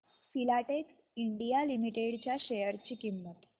Filatex India limited च्या share ची किंमत